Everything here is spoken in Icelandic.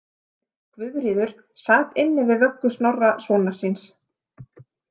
Guðríður sat inni við vöggu Snorra sonar síns.